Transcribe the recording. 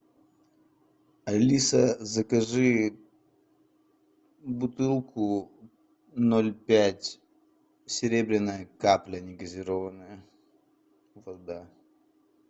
алиса закажи бутылку ноль пять серебряная капля не газированная вода